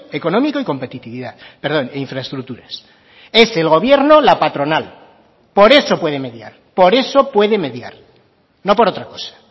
económico y competitividad perdón e infraestructuras es el gobierno la patronal por eso puede mediar por eso puede mediar no por otra cosa